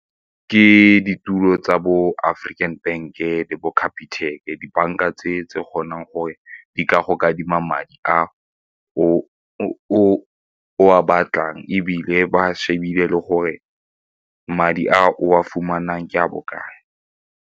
Ke ditulo tsa bo African Bank-e le bo Capitec-ke, dibanka tse kgonang gore di ka go kadima madi a o a batlang ebile ba shebile le gore madi a o a fumanang ke a bokae.